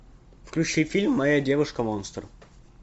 включи фильм моя девушка монстр